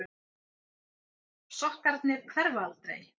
Sokkarnir hverfa aldrei.